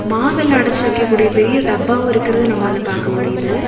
மாவெல்லாம் அடச்சு வக்கக்கூடிய பெரிய டப்பாவும் இருக்கிறத நம்மளால பாக்க முடியுது.